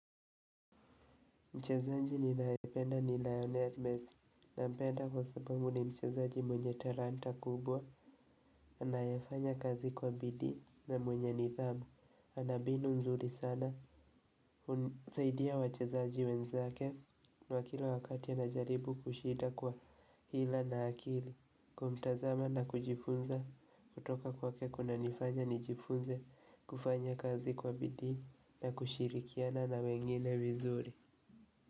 Mchezaji ninayempenda ni Lionel Messi, ninampenda kwa sababu ni mchezaji mwenye talanta kubwa anayefanya kazi kwa bidii na mwenye nidhamu. Ana mbinu nzuri sana zaidi ya wachezaji wenzake na kila wakati anajaribu kushinda kwa hila na akili. Kumtazama na kujifunza kutoka kwake kuna nifanya nijifunze kufanya kazi kwa bidii na kushirikiana na wengine vizuri.